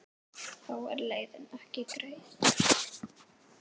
Þó er leiðin ekki greið.